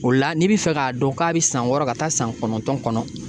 O la n'i bi fɛ k'a dɔn k'a bɛ san wɔɔrɔ ka taa san kɔnɔntɔn kɔnɔ.